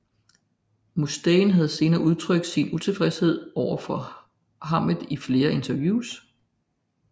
Mustaine har senere udtrykt sin utilfredshed overfor Hammett i flere interviews